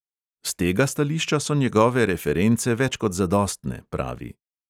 S tega stališča so njegove reference več kot zadostne, pravi.